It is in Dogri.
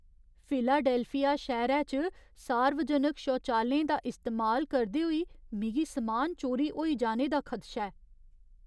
फिलाडेल्फिया शैह्‌रे च सार्वजनक शौचालयें दा इस्तेमाल करदे होई मिगी समान चोरी होई जाने दा खदशा ऐ।